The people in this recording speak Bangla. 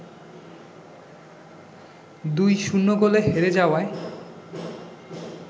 ২-০ গোলে হেরে যাওয়ায়